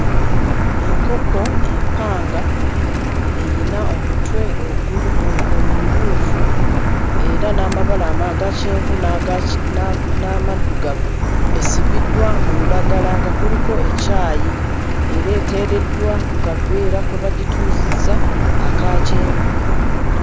Enkoko empanga eyina omutwe oguli omumyufu era n'amabala aga kyenvu n'aga ki n'amaddugavu. Esibiddwa mu lulagala nga kuliko ekyayi, era eteereddwa ku kaveera kwe bagituuzizza aka kyenvu.